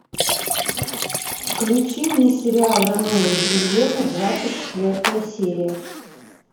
включи мне сериал ромео и джульетта двадцать четвертая серия